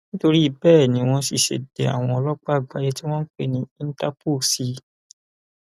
nítorí bẹẹ ni wọn sì ṣe dé àwọn ọlọpàá àgbáyé tí wọn ń pè ní ìńtàpó sí i